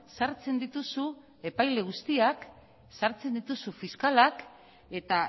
sartzen dituzu epaile guztiak sartzen dituzu fiskalak eta